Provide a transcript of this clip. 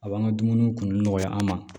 A b'an ka dumuniw kun nɔgɔya an ma